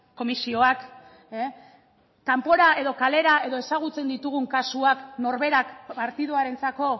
komisioak kanpora edo kalera edo ezagutzen ditugun kasuak norberak partiduarentzako